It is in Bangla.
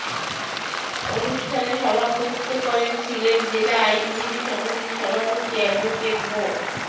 অনুষ্ঠানে সভাপতিত্ব করেন সিলেট জেলা আইনজীবী সমিতির সভাপতি অ্যাডভোকেট মো